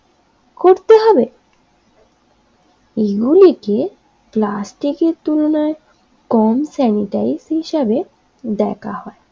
এই বলে গিয়ে প্লাস্টিকের তুলে নেয় কম স্যানিটাইজ হিসেবে দেখা হয়